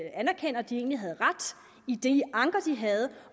de egentlig havde ret i de anker de havde